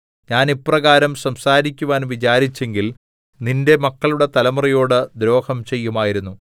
ഞാൻ ഇപ്രകാരം സംസാരിക്കുവാൻ വിചാരിച്ചെങ്കിൽ നിന്റെ മക്കളുടെ തലമുറയോട് ദ്രോഹം ചെയ്യുമായിരുന്നു